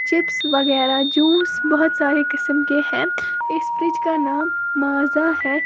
Chips वगैरा juice बहुत सारे किस्म के है इस फ्रिज का नाम माजा है।